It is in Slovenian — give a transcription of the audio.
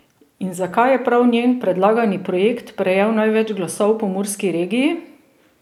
In zakaj je prav njen predlagani projekt prejel največ glasov v pomurski regiji?